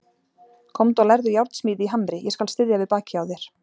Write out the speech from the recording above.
Komdu og lærðu járnsmíði í Hamri, ég skal styðja við bakið á þér.